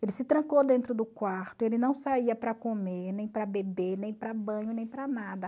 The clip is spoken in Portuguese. Ele se trancou dentro do quarto, ele não saía para comer, nem para beber, nem para banho, nem para nada.